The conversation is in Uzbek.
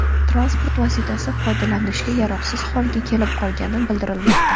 Transport vositasi foydalanishga yaroqsiz holga kelib qolgaini bildirilmoqda.